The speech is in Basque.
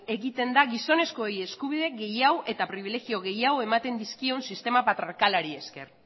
egiten da gizonezkoei eskubide gehiago eta pribilegio gehiago ematen dizkion sistema patriarkalari esker